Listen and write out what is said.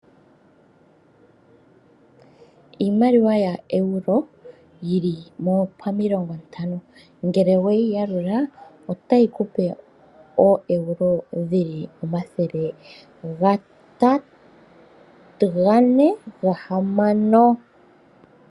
Iimaliwa yaEuro yi li pamiilongo ntaano, ngele oweyi yalula otayi kupe omathele gahamano.